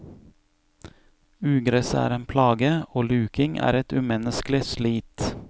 Ugresset er en plage, og luking er et umenneskelig slit.